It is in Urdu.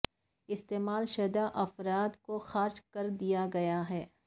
استعمال شدہ افراد کو خارج کر دیا گیا ہے